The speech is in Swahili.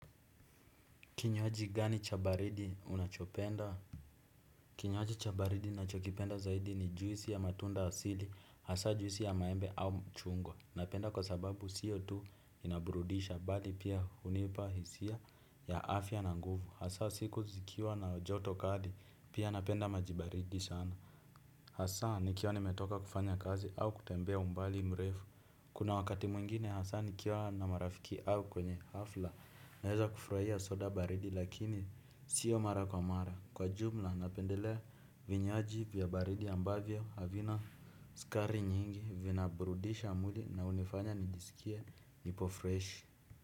Kinywaji gani cha baridi unachopenda. Kinywaji cha baridi nachokipenda zaidi ni juisi ya matunda asili. Hasa juisi ya maembe au mchungwa. Napenda kwa sababu siyo tu inaburudisha bali pia unipa hisia ya afya na nguvu. Hasa siku zikiwa na joto kali pia napenda maji baridi sana. Hasa nikiwa nimetoka kufanya kazi au kutembea umbali mrefu. Kuna wakati mwingine hasa nikiwa na marafiki au kwenye hafla naeza kufurahia soda baridi lakini siyo mara kwa mara. Kwa jumla napendelea vinywaji vya baridi ambavyo avina skari nyingi vina burudisha mwili na unifanya nijisikie nipo freshi.